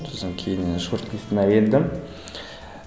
сосын кейіннен келдім